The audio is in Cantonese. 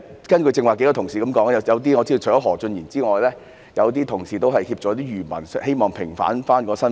根據數位同事剛才的發言，我知道除了何俊賢議員之外，有些同事也希望協助漁民平反身份。